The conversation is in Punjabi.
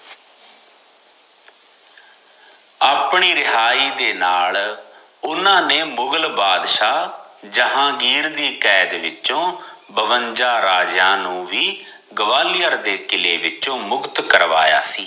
ਆਪਣੀ ਰਿਹਾਈ ਦੇ ਨਾਲ ਓਹਨਾ ਨੇ ਮੁਗਲ ਬਾਦਸ਼ਾਹ ਜਹਾਂਗੀਰ ਦੀ ਕੈਦ ਵਿਚੋ ਬਵੰਜਾ ਰਾਜਿਆਂ ਨੂੰ ਵੀ ਗਵਾਲੀਅਰ ਦੇ ਕਿੱਲੇ ਵਿਚੋ ਮੁਕਤ ਕਰਾਇਆ ਸੀ